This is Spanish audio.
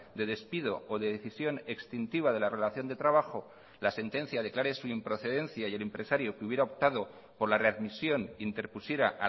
de despido o de decisión extintiva de la relación de trabajo la sentencia declare su improcedencia y el empresario que hubiera optado por la readmisión interpusiera